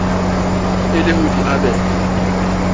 e le ho di abela